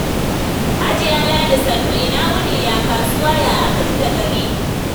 Hajiya Ladi sannu, ina wuni ya kasuwa? Ya aka ji da gari?